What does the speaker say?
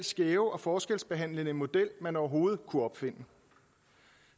skæve og forskelsbehandlende model man overhovedet kunne opfinde